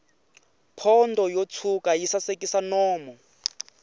pondo yo tshwuka yi sasekisa nomu